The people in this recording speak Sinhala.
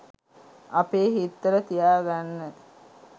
අපේ හිත්වල තියාගන්න.